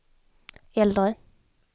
äldre